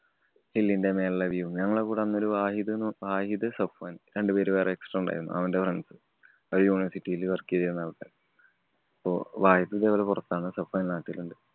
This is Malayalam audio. hill ന്‍റെ മേലെള്ള view ഉം ഞങ്ങടെ കൂടെ അന്ന് വാഹിദ് എന്ന് വാഹിദ്, സഫാന്‍ രണ്ടു പേര് വേറെ extra ഉണ്ടാരുന്നു. അവന്‍റെ friends. അവര് university ല് work ചെയ്തീരുന്ന ആള്‍ക്കാരാ. അപ്പൊ വാഹിദ് ഇതുപോലെ പുറത്താണ്. സഫാന്‍ നാട്ടിലുണ്ട്.